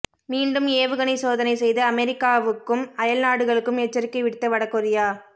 மீண்டும் ஏவுகணை சோதனை செய்து அமெரிக்காவுக்கும் அயல் நாடுகளுக்கும் எச்சரிக்கை விடுத்த வடகொரியா